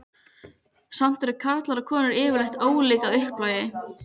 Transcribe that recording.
Samt eru karlar og konur yfirleitt ólík að upplagi.